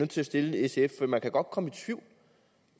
til at stille sf for man kan godt komme i tvivl